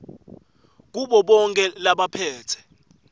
kubo bonkhe labaphetse